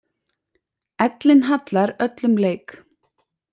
Ellin hallar öllum leik.